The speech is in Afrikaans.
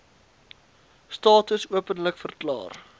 status openlik verklaar